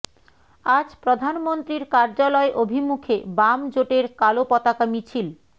আজ প্রধানমন্ত্রীর কার্যালয় অভিমুখে বাম জোটের কালো পতাকা মিছিল